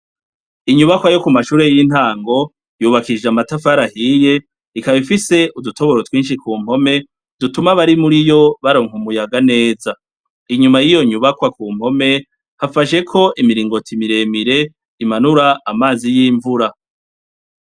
Inyubakwa yo kumashure y'intango yubakishijwe amatafari ahiye ikaba ifise udutoboro twishi kumpome dutuma abarimuriyo baronka akayaga keza. Inyuma yiyo nyubakwa kumpome hafasheko imiringoti miremire imanura amazi y'imvura.